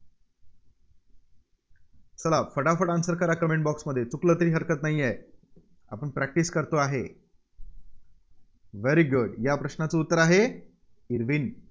चला, फटाफट answer करा Comment box मध्ये. चुकलं तरी हरकत नाहीये. आपण practise करतो आहे. very good या प्रश्नाचं उत्तर आहे, इर्विन.